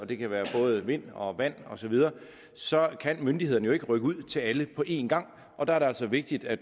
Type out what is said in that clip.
det kan være både vind og vand osv så kan myndighederne jo ikke rykke ud til alle på en gang og der er det altså vigtigt at